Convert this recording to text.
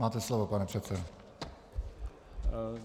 Máte slovo, pane předsedo.